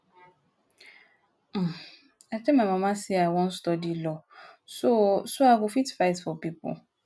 um i tell my mama say i wan study law so so i go fit fight for people